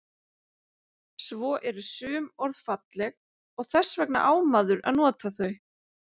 Svo eru sum orð falleg og þess vegna á maður að nota þau.